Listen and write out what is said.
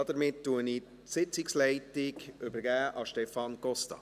Damit übergebe ich die Sitzungsleitung an Stefan Costa.